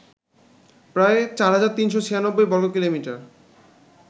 প্রায় ৪৩৯৬ বর্গকিমি